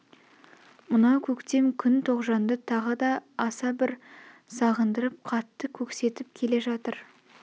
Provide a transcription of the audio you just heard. мынау көктем күн тоғжанды тағы да аса бір сағындырып қатты көксетп келе жатыр